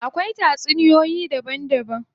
Akwai tatsuniyoyi daban daban.